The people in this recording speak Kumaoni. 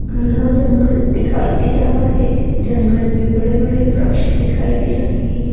घना जंगल दिखाई दे रहा है जंगल में बड़े-बड़े वृक्ष दिखाई दे रहें हैं ।